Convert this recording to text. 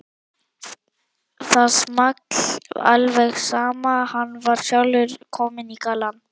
Það small alveg saman, hann var sjálfur kominn í gallann.